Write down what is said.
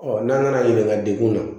n'an nana ɲininka degun na